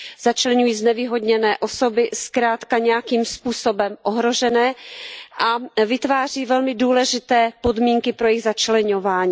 Začleňují znevýhodněné osoby zkrátka nějakým způsobem ohrožené a vytváří velmi důležité podmínky pro jejich začleňování.